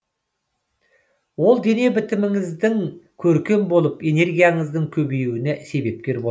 ол дене бітіміңіздің көркем болып энергияңыздың көбеюіне себепкер болады